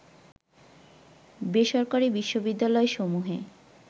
বেসরকারি বিশ্ববিদ্যালয়সমূহে